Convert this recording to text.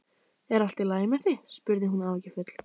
Er allt í lagi með þig? spurði hún áhyggjufull.